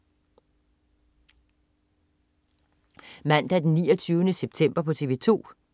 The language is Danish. Mandag den 29. september - TV 2: